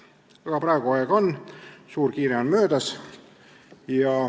Aga praegu aega on, suur kiire on möödas.